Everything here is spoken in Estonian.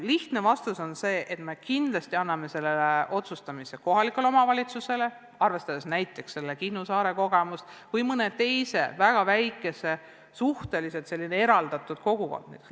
Lihtne vastus on see, et me kindlasti anname selle üle otsustamise võimaluse kohalikule omavalitsusele, arvestades näiteks Kihnu saare kogemust või mõne teise väga väikese ja suhteliselt eraldatud kogukonna kogemust.